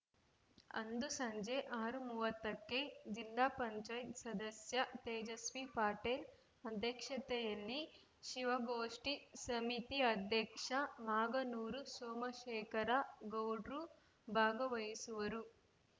ಅಂದು ಸಂಜೆ ಆರು ಮೂವತ್ತ ಕ್ಕೆ ಜಿಲ್ಲಾ ಪಂಚಾಯತ್ ಸದಸ್ಯ ತೇಜಸ್ವಿ ಪಟೇಲ್‌ ಅಧ್ಯಕ್ಷತೆಯಲ್ಲಿ ಶಿವಗೋಷ್ಠಿ ಸಮಿತಿ ಅಧ್ಯಕ್ಷ ಮಾಗನೂರು ಸೋಮಶೇಖರ ಗೌಡ್ರು ಭಾಗವಹಿಸುವರು